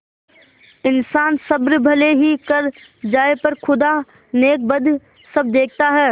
इन्सान सब्र भले ही कर जाय पर खुदा नेकबद सब देखता है